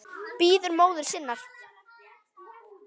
Bíður móður sinnar.